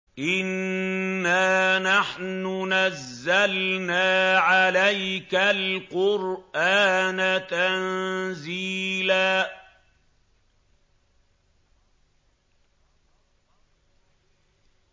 إِنَّا نَحْنُ نَزَّلْنَا عَلَيْكَ الْقُرْآنَ تَنزِيلًا